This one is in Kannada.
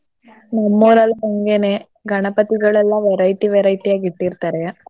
ನಮ್ ಊರಲ್ಲೂ ಹಾಗೇನೇ ಗಣಪತಿಗಳೆಲ್ಲೆ variety varieties ಆಗಿ ಇಟ್ಟಿರ್ತಾರೆ.